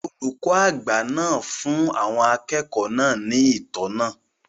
Olùkọ́ àgbà náà fún àwọn akẹ́kọ̀ọ́ náà ní ìtọ́nà